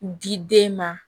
Di den ma